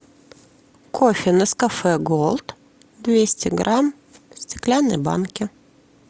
кофе нескафе голд двести грамм в стеклянной банке